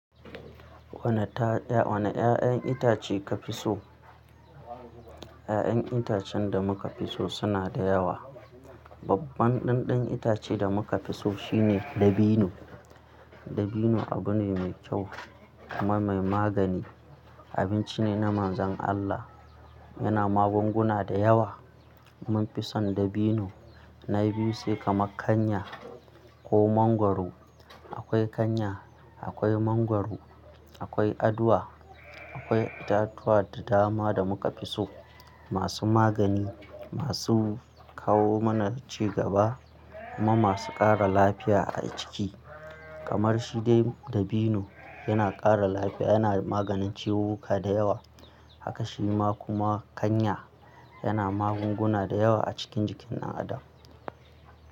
Wane 'ya'yan itace ka fi so? 'Ya'yan itacen da muka fi so suna da yawa. Babban ɗanɗan itace da muka fi so shine dabino. Dabino abu ne mai kyau kuma mai magani. Abinci ne na Manzon Allah. Yana magunguna da yawa. Mun fi son dabino na biyu sai kamar kanya ko mangwaro. Akwai kanya, akwai mangwaro, akwai aduwa, akwai itatuwa da dama da muka fi so. Masu magani, masu kawo mana ci gaba kuma masu ƙara lafiya a jiki. Kamar shi de dabino yana ƙara lafiya, yana maganin ciwuka da yawa. Haka shi ma kuma kanya yana magunguna da yawa a cikin jikin ɗan adam.